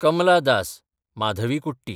Kamala Das (Madhavikutty)